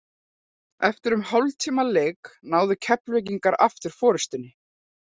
Eftir um hálftíma leik náðu Keflvíkingar aftur forystunni.